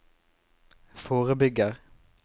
forebygger